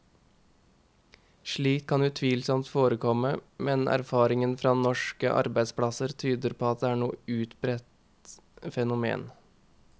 Slikt kan utvilsomt forekomme, men erfaringen fra norske arbeidsplasser tyder ikke på at det er noe utbredt fenomen.